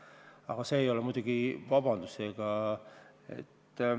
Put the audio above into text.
Aga see ei ole muidugi vabandus.